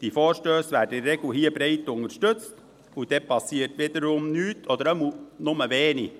Diese Vorstösse werden in der Regel hier breit unterstützt, und dann passiert wieder nichts, oder zumindest wenig.